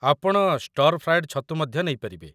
ଆପଣ stir fried ଛତୁ ମଧ୍ୟ ନେଇ ପାରିବେ।